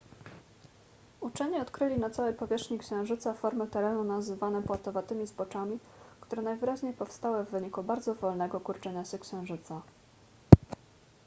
uczeni odkryli na całej powierzchni księżyca formy terenu nazywane płatowatymi zboczami które najwyraźniej powstały w wyniku bardzo wolnego kurczenia się księżyca